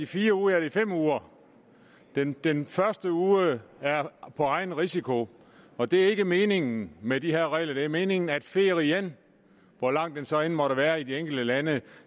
fire ud af de fem uger den den første uge er på egen risiko og det er ikke meningen med de her regler det er meningen at ferien hvor lang den så måtte være i de enkelte lande